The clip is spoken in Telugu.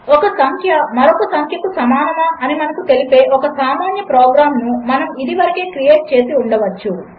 ఒకసంఖ్యమరొకసంఖ్యకుసమానమాఅనిమనకుతెలిపేఒకసామాన్యప్రోగ్రాంనుమనముఇదివరకేక్రియేట్చేసిఉండవచ్చు